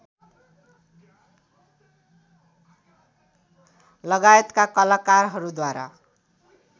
लगायतका कलाकारहरूद्वारा